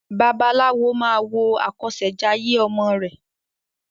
Babaláwo máa wo àkọsèjayé ọmọ rè